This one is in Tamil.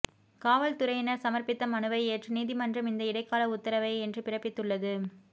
காவல்துறையினர் சமர்ப்பித்த மனுவை ஏற்று நீதிமன்றம் இந்த இடைக்கால உத்தரவை இன்று பிறப்பித்துள்ளது